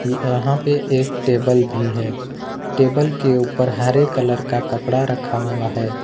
ये यहां पे एक टेबल भी है टेबल के ऊपर हरे कलर का कपड़ा रखा हुआ है।